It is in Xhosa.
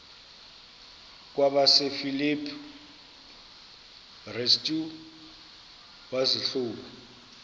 kwabasefilipi restu wazihluba